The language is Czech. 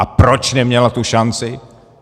A proč neměla tu šanci?